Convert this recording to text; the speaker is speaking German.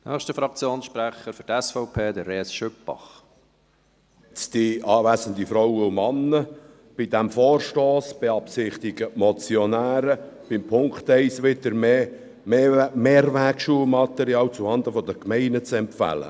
Bei diesem Vorstoss beabsichtigen die Motionäre, mit dem Punkt 1 wieder mehr Mehrwegschulmaterial zuhanden der Gemeinden zu empfehlen.